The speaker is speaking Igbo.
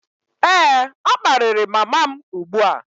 Ee, ọ kparịrị mama m ugbu a